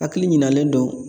Hakili ɲinalen don